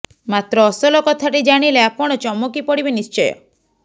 ମାତ୍ର ଅସଲ କଥାଟି ଜାଣିଲେ ଆପଣ ଚମକି ପଡ଼ିବେ ନିଶ୍ଚୟ